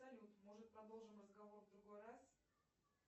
салют может продолжим разговор в другой раз